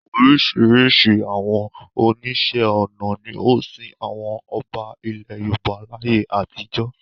Oríṣiríṣi àwọn oníṣẹ́ ọnà ni ó sin àwọn ọba ilẹ̀ Yorùbá láyé àtijọ́.